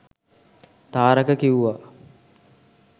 තාරක කිව්වා